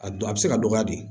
A du a bɛ se ka dɔgɔya de